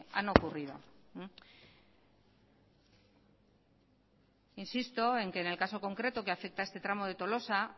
han ocurrido insisto en que en el caso concreto que afecta a este tramo de tolosa